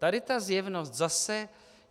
Tady ta zjevnost zase...